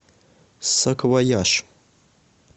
саквояж